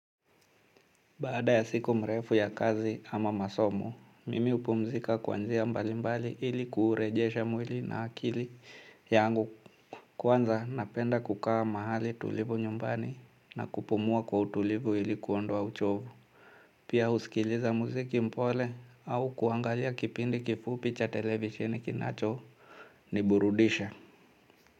Baada ya siku mrefu ya kazi ama masomo, mimi hupumzika kwa njia mbalimbali ili kuurejesha mwili na akili yangu kwanza, napenda kukaa mahali tulivu nyumbani na kupumua kwa utulivu ili kuondoa uchovu. Pia husikiliza muziki mpole au kuangalia kipindi kifupi cha televisheni kinachoniburudisha.